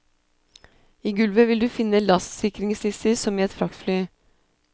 I gulvet vil du finne lastsikringslister, som i et fraktfly.